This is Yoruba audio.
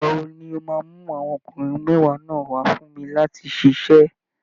Ìgbà wo ni o máa mú àwọn ọkùnrin mẹ́wàá náà wà á fún mi láti ṣiṣẹ́?